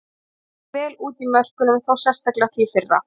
Leit ekki vel út í mörkunum, þá sérstaklega því fyrra.